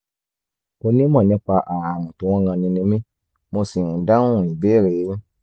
onímọ̀ nípa ààrùn tó ń ranni ni mí mo sì ń dáhùn ìbéèrè yín